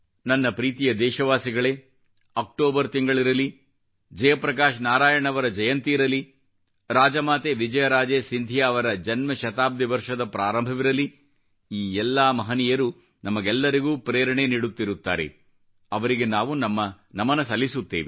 ನನ್ನ ಪ್ರೀತಿಯ ದೇಶವಾಸಿಗಳೇ ಅಕ್ಟೋಬರ್ ತಿಂಗಳಿರಲಿ ಜಯಪ್ರಕಾಶ್ ನಾರಾಯಣ್ ಅವರ ಜಯಂತಿ ಇರಲಿ ರಾಜಮಾತೆ ವಿಜಯರಾಜೆ ಸಿಂಧಿಯಾ ಅವರ ಜನ್ಮ ಶತಾಬ್ದಿ ವರ್ಷದ ಪ್ರಾರಂಭವಿರಲಿ ಈ ಎಲ್ಲಾ ಮಹನೀಯರು ನಮಗೆಲ್ಲರಿಗೂ ಪ್ರೇರಣೆ ನೀಡುತ್ತಿರುತ್ತಾರೆ ಅವರಿಗೆ ನಾವು ನಮನ ಸಲ್ಲಿಸುತ್ತೇವೆ